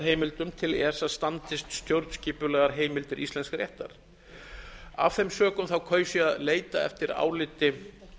sektarheimildum til esa standist stjórnskipulegar heimildir íslensks réttar af þeim sökum kaus ég að leita eftir áliti